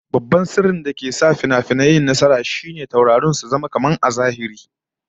Babban sirrin dake sanya fim nasara da tasiri shine maganganu da aikin taurari a fim su zamo kamar na gaske a zahiri